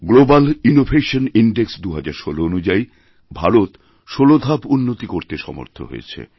global innovation index ২০১৬ অনুযায়ীভারত ১৬ ধাপ উন্নতি করতে সমর্থ হয়েছে